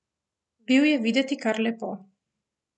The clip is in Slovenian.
Bil je videti kar lepo.